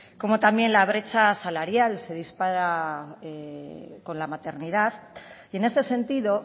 como también la brecha salarial se dispara con la maternidad y en este sentido